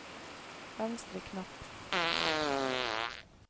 venstre knapp